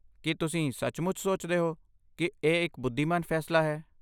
ਕੀ ਤੁਸੀਂ ਸੱਚਮੁੱਚ ਸੋਚਦੇ ਹੋ ਕਿ ਇਹ ਇੱਕ ਬੁੱਧੀਮਾਨ ਫੈਸਲਾ ਹੈ?